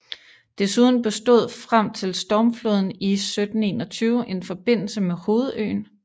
Desuden bestod frem til stormfloden i 1721 en forbindelse med hovedøen